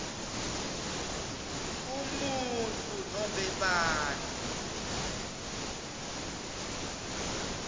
umuntfu nobe bantfu